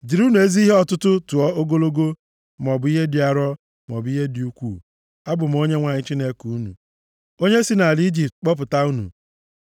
Jirinụ ezi ihe ọtụtụ tụọ ogologo, maọbụ ihe dị arọ, maọbụ ihe dị ukwuu. Abụ m Onyenwe anyị Chineke unu, onye si nʼala Ijipt kpọpụta unu.